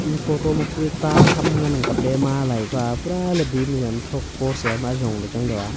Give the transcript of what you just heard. e photo ma kue ta ham ngan ang kap ley ma alai kua pura le bim yam thok post yam ajong le chang dao.